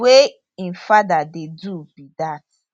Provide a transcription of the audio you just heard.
wey im father dey do be dat